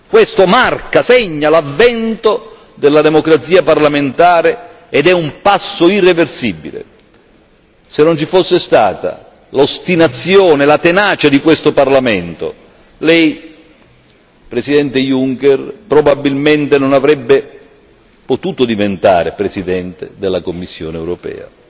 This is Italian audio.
Questo marca, segna l'avvento della democrazia parlamentare ed è un passo irreversibile. Se non ci fosse stata l'ostinazione e la tenacia di questo Parlamento Lei, Presidente Juncker, probabilmente non avrebbe potuto diventare Presidente della Commissione europea.